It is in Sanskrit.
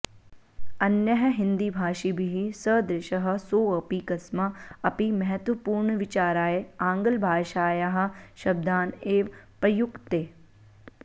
अन्यैः हिन्दीभाषिभिः सदृशः सोऽपि कस्मा अपि महत्त्वपूर्णविचाराय आङ्ग्लभाषायाः शब्दान् एव प्रयुङ्क्ते